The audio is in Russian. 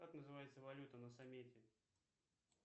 как называется валюта на самете